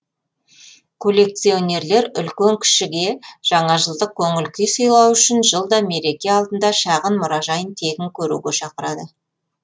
коллекционерлер үлкен кішіге жаңажылдық көңіл күй сыйлау үшін жылда мереке алдында шағын мұражайын тегін көруге шақырады